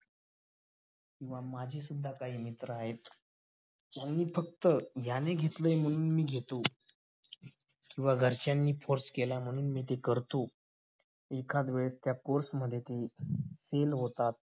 किंवा माझी सुद्धा काही मित्र आहेत कि मी फक्त ह्यांने घेतलंय म्हणून मी घेतो किंवा घरच्यांनी force केला म्हणून मी ते करतो. एकामुळे त्या course मध्ये होतात